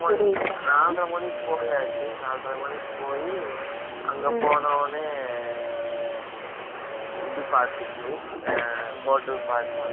நாலரை மணிக்கு போயாச்சு. நாலரை மணிக்கு போயி, அங்க போன உடனே, இது பார்த்துச்சு. ஆ, hotel பாத்து, அங்க